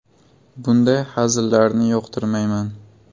Bunday hazillarni yoqtirmayman.